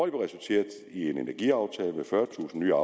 er resulteret i en energiaftale med fyrretusind nye